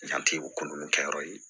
Yanti o ko ninnu kɛyɔrɔ ye